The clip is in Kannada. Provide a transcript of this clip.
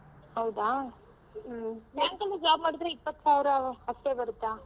ಹೌದಾ ಹ್ಮ್ bank ಅಲ್ಲ್ job ಮಾಡಿದ್ರೆ ಇಪ್ಪತ್ತು ಸಾವಿರ ಅಷ್ಟೇ ಬರುತ್ತ?